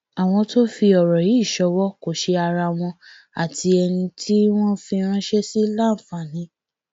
àwọn tó ń fi ọrọ yìí ṣọwó kò ṣe ara wọn àti ẹni tí wọn fi ránṣẹ sí láǹfààní